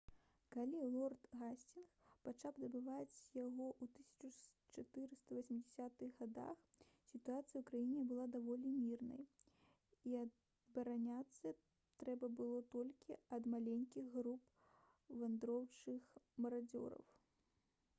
калі лорд гасцінгс пачаў будаваць яго ў 1480-х гадах сітуацыя ў краіне была даволі мірнай і абараняцца трэба было толькі ад маленькіх груп вандроўных марадзёраў